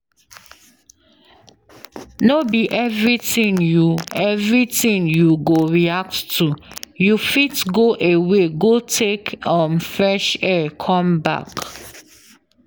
No be everything you everything you go react to you fit go away go take um fresh air come back